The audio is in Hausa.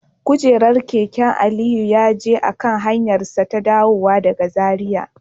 Kujerar keke Aliyu ya ji a kan hanyarsa ta dawowa daga Zaria